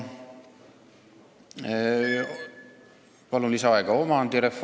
Palun lisaaega!